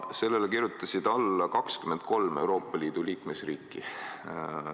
Sellele kirjutasid alla 23 Euroopa Liidu liikmesriiki.